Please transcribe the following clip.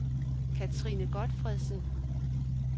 Kathrine Gotfredsen